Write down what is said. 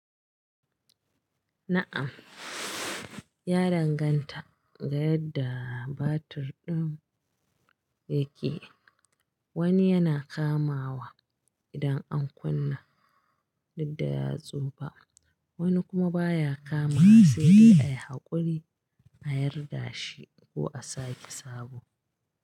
Na'am, ya danganta ga yadda batir ɗin yake. Wani yana kamawa idan an kunna duk da ya tsufa, wani kuma baya kamawa sai dai a yi haƙuri a yarda shi ko a sake sabo.